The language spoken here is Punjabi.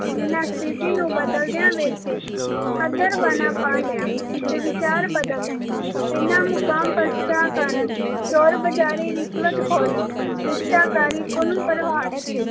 ਜਿਹਨਾਂ ਸਤਿਥੀ ਨੂੰ ਬਦਲਦਿਆਂ ਵੇਖ ਕੇ ਪਾ ਲਿਆ ਤੇ ਵਿਚਾਰ ਬਦਲ ਲਾਏ ਇਹਨਾਂ ਕਾਰਨ ਚੋਰਬਜਾਰੀ ਰਿਸ਼ਵਤਖੋਰੀ ਭ੍ਰਿਸ਼ਟਾਚਾਰੀ ਗੁਲਾਮਪ੍ਰਵਾਹੀ